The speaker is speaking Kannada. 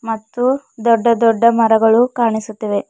ಮತ್ತು ದೊಡ್ಡ ದೊಡ್ಡ ಮರಗಳು ಕಾಣಿಸುತ್ತವೆ.